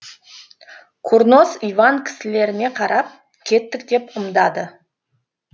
курнос иван кісілеріне қарап кеттік деп ымдады